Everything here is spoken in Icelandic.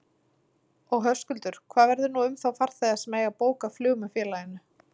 Og Höskuldur, hvað verður nú um þá farþega sem eiga bókað flug með félaginu?